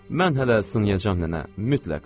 Mən hələ sınayacam nənə, mütləq.